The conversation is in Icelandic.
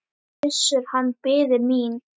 Gissur, hann biði mín.